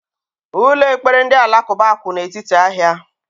Ụlọ ekpere ndị Alakuba kwu n' etiti ahia